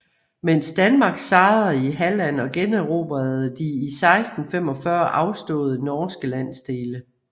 Mens Danmark sejrede i Halland og generobrede de i 1645 afståede norske landsdele